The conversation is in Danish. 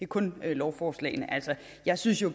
kun lovforslagene altså jeg synes jo